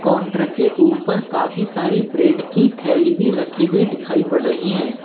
Counter के ऊपर काफी सारी ब्रेड की थैली भी रखी हुई दिखाई पड़ रही हैं।